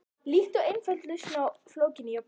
Líkt og einföld lausn á flókinni jöfnu.